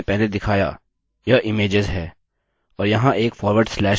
और जैसे कि मैंने पहले दिखाया यह images है और यहाँ एक फॉरवर्ड स्लैश लिखते हैं